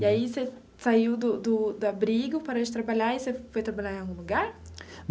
E aí você saiu do do do abrigo, parou de trabalhar e você foi trabalhar em algum lugar?